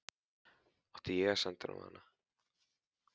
Átti ég að senda honum hana?